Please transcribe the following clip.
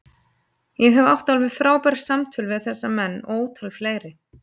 Ég hef átt alveg frábær samtöl við þessa menn og ótal fleiri.